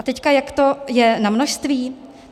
A teď jak to je na množství?